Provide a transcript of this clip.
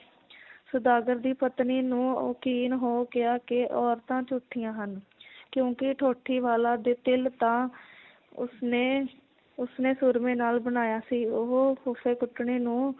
ਸੌਦਾਗਰ ਦੀ ਪਤਨੀ ਨੂੰ ਯਕੀਨ ਹੋ ਗਿਆ ਕਿ ਔਰਤਾਂ ਝੂਠੀਆਂ ਹਨ ਕਿਉਂਕਿ ਠੋਟੀ ਵਾਲਾ ਦੇ ਤਿਲ ਤਾਂ ਉਸਨੇ ਉਸਨੇ ਸੂਰਮੇ ਨਾਲ ਬਣਾਇਆ ਸੀ ਉਹ ਫੱਫੇ ਕੁੱਟਣੀ ਨੂੰ